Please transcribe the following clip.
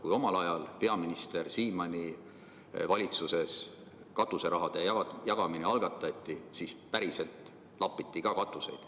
Kui omal ajal peaminister Siimanni valitsuses katuseraha jagamine algatati, siis päriselt lapitigi katuseid.